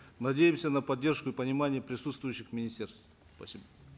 надеемся на поддержку и понимание присутствующих министерств спасибо